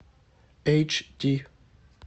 эйч ди